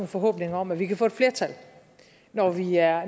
forhåbninger om at vi kan få et flertal når vi er